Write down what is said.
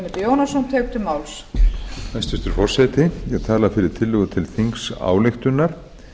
hæstvirtur forseti ég tala fyrir tillögu til þingsályktunar